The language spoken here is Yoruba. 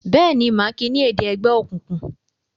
Béèni má kí ní èdè ègbé òkùnkùn?